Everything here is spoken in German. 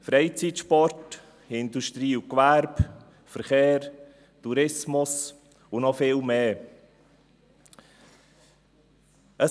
Freizeit, Sport, Industrie, Gewerbe, Verkehr, Tourismus und noch viele andere üben Druck aus.